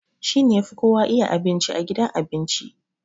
He is the best chef in the restaurant